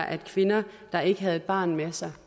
at kvinder der ikke havde et barn med sig